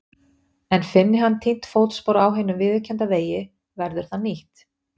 En finni hann týnt fótspor á hinum viðurkennda vegi verður það nýtt.